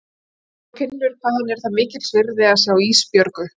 Og hún finnur hvað henni er það mikils virði að sjá Ísbjörgu.